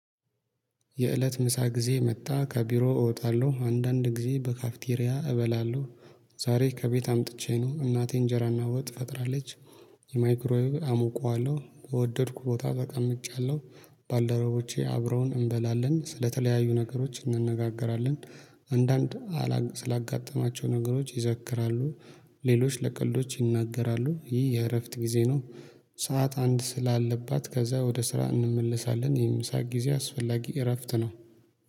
የእለት ምሳ ጊዜ መጣ ከቢሮ እወጣለሁ አንዳንድ ጊዜ በካፍቴሪያ እበላለሁ። ዛሬ ከቤት አምጥቼ ነው እናቴ እንጀራና ወጥ ፈጥራለች። የማይክሮ አሞቃዋለሁ በወደድኩ ቦታ ተቀምጫለሁ። ባልደረቦቼ አብረውን እንበላለን ስለተለያዩ ነገሮች እንነጋገራለን። አንዳንድ ስላጋጠማቸው ነገሮች ይዘክራሉ። ሌሎች ለቀልዶች ይናገራሉ ይህ የእረፍት ጊዜ ነው። ሰዓት አንድ ስላለባት ከዛ ወደ ስራ እንመልሳለን። የምሳ ጊዜ አስፈላጊ እረፍት ነው